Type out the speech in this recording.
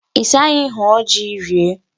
Ị sị anyị hụọ ji rie?